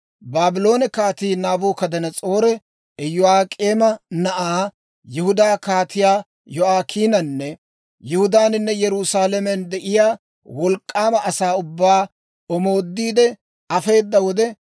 Baabloone Kaatii Naabukadanas'oori Iyo'ak'eema na'aa, Yihudaa Kaatiyaa Yo'aakiinanne Yihudaaninne Yerusaalamen de'iyaa wolk'k'aama asaa ubbaa omoodiide afeeda wode,